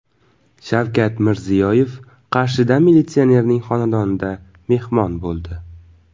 Shavkat Mirziyoyev Qarshida militsionerning xonadonida mehmon bo‘ldi.